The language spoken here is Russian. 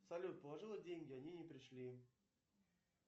салют положила деньги они не пришли